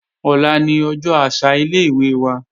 Ọ̀la ni ọjọ́ àṣà ilé-ìwé wa